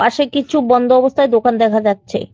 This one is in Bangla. পাশে কিছু বন্ধ অবস্থায় দোকান দেখা যাচ্ছে।